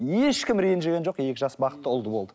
ешкім ренжіген жоқ екі жас бақытты ұлды болды